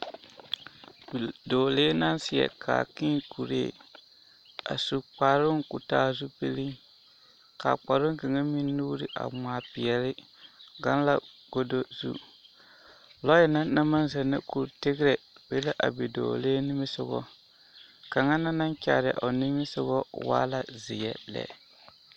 Dɔɔlee naŋ seɛ kaakii kuree a su kparoo ka o taa zupili kaa kparoo kaŋ meŋ nuure a ŋmaa peɛle gaŋ la kodo su lɔɛ na naŋ maŋ zennɛ kuri tegerɛɛ be la a dɔɔlee nimisoga kaŋ na naŋ kyaare a o nimisoga waa la zeɛ lɛ